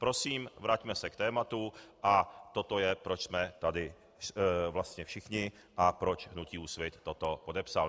Prosím, vraťme se k tématu a toto je, proč jsme tady vlastně všichni a proč hnutí Úsvit toto podepsalo.